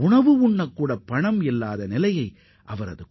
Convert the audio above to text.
உணவு பொருட்களை வாங்க கூட பணம் இல்லாத காலகட்டம் அது